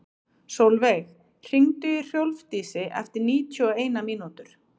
Solveig, hringdu í Hrólfdísi eftir níutíu og eina mínútur.